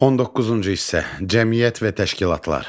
19-cu hissə: Cəmiyyət və təşkilatlar.